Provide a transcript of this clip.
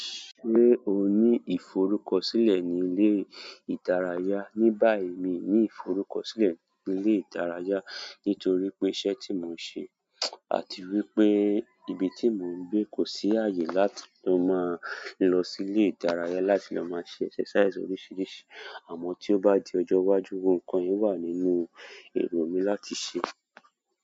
Ṣé o ní ìforúkọsílẹ ní ilé ìdárayá? Ní báyìí mi ò ní ìforúkọsílẹ ní ilé ìdárayá nítorípé ìṣẹ́ tí mo ń ṣe, àti wípé ibi tí mò ń gbé kò sí ààyè láti lọ máa lọ sí ilé ìdárayá láti lọ mọn ṣe exercise oríṣiríṣi. Àmọ́n tí ó bá di ọjọ́ iwájú gbogbo nǹkan yẹn wà nínú èrò mi láti ṣe.